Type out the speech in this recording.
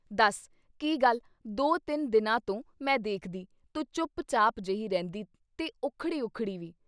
ਦਸ ਕੀ ਗੱਲ ਦੋ ਤਿੰਨ ਦਿਨਾਂ ਤੋਂ ਮੈਂ ਦੇਖਦੀ, ਤੂੰ ਚੁੱਪ-ਚਾਪ ਜੇਹੀ ਰਹਿੰਨੀ ਤੇ ਉੱਖੜੀ ਉੱਖੜੀ ਵੀ।